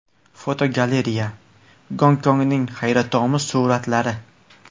Fotogalereya: Gonkongning hayratomuz suratlari.